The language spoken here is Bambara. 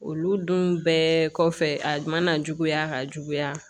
Olu dun bɛɛ kɔfɛ a mana juguya ka juguya